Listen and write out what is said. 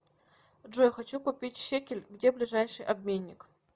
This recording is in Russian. джой хочу купить шекель где ближайший обменник